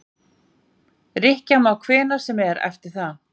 Rykkja má hvenær sem er eftir það.